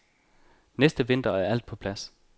Næste vinter er alt på plads.